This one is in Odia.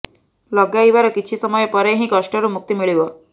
ଲଗାଇବାର କିଛି ସମୟ ପରେ ହିଁ କଷ୍ଟରୁ ମୁକ୍ତି ମିଳିବ